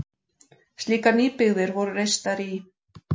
Slíkar nýbyggðir voru reistar í